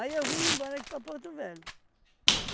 eu vim me embora aqui para Porto Velho.